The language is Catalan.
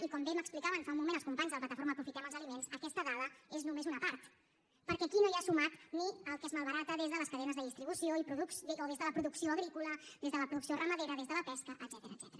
i com bé m’explicaven fa un moment els companys de la plataforma aprofitem els aliments aquesta dada és només una part perquè aquí no hi ha sumat ni el que es malbarata des de les cadenes de distribució o des de la producció agrícola des de la producció ramadera des de la pesca etcètera